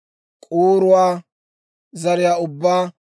k'uuruwaa zariyaa ubbaa,